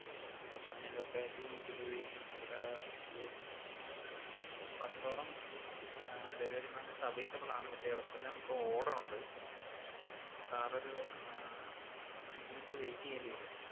ആഹ് അപ്പൊ sir ഞാൻ locality നോക്കിയപ്പഴത്തേക്കും അവിട ഒരു പത്തോളം അഹ് delivery partners available ആണ്, പക്ഷെ അവർക്കെല്ലാം ഇപ്പൊ order ഒണ്ട്. Sir ഒരു അഹ് ആഹ് അഞ്ച് minute wait എയ്യേണ്ടി വെരും.